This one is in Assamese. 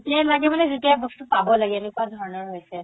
যেতিয়া লাগে মানে যেতিয়া বস্তু পাব লাগে এনেকুৱা ধৰণৰ হৈছে